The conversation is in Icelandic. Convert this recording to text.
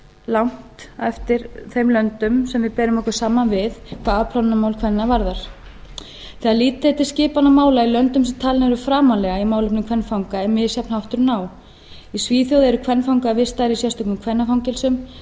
langt á eftir þeim löndum sem við berum okkur saman við hvað afplánunarmál kvenna varðar þegar litið er til skipanar mála í löndum sem talin eru framarlega í málefnum kvenfanga er misjafn hátturinn á í svíþjóð eru kvenfangar vistaðir í sérstökum kvennafangelsum danir